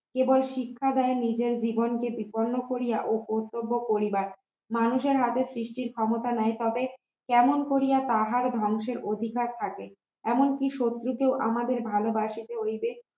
কেবল শিক্ষা দেয় নি যে জীবনকে বিপন্ন করিয়া ও কর্তব্য করিবার মানুষের হাতে সৃষ্টির ক্ষমতা ন্যায় পাবে কেমন করিয়া তাহার ধ্বংসের অধিকার থাকে এমনকি শত্রু কেও আমাদের ভালবাসিতে হইবে